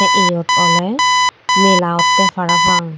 yot oley mela ottey parapang.